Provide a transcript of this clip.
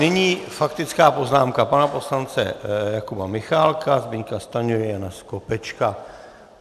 Nyní faktická poznámka pana poslance Jakuba Michálka, Zbyňka Stanjury, Jana Skopečka.